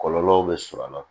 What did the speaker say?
Kɔlɔlɔw bɛ sɔrɔ a la